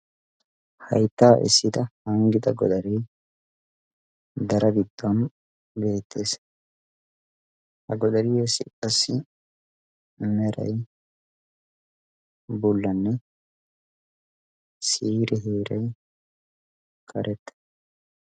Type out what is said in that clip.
hayttaa essida hanggida godarii dara giddon geettees ha godariyassi qassi merai bullanne siire heeray karetta